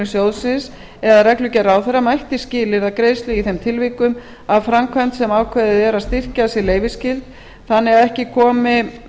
sjóðsins eða reglugerð ráðherra mætti skilyrða greiðslu í þeim tilvikum að framkvæmd sem ákveðið er að styrkja sé leyfisskyld þannig að ekki komi